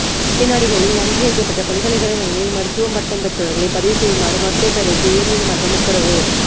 வெளிநாடுகளின் அங்கீகரிக்கப்பட்ட பல்கலைக்கழகங்களில் மருத்துவப் பட்டம் பெற்றவர்களை பதிவு செய்யுமாறு மருத்துவ பேரவைக்கு உயர்நீதிமன்றம் உத்தரவு